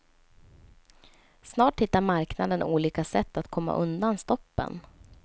Snart hittar marknaden olika sätt att komma undan stoppen.